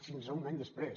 fins a un any després